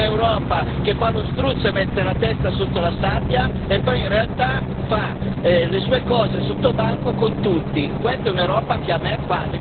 Queste sono le schifezze di un'Europa che fa lo struzzo e mette la testa sotto la sabbia e poi, in realtà, fa le sue cose sottobanco con tutti.